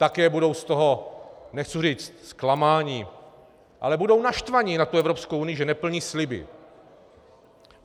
Také budou z toho - nechci říct zklamaní, ale budou naštvaní na tu Evropskou unii, že neplní sliby.